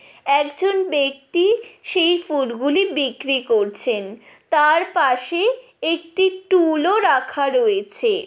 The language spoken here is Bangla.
একজন ব্যাক্তি সেই ফুল গুলো বিক্রি করছেন তার পশে একটি টুলও রাখা আছে।